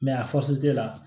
a la